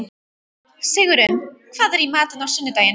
Sigurunn, hvað er í matinn á sunnudaginn?